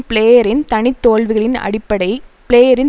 பிளேயரின் தனி தோல்விகளின் அடிப்படை பிளேயரின்